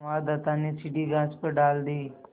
संवाददाता ने सीढ़ी घास पर डाल दी